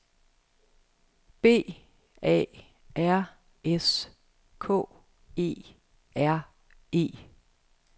B A R S K E R E